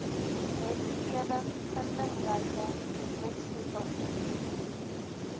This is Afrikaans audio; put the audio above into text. wetgewing vindingryke wetstoepassing